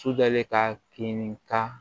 Sujɔlen ka kini ka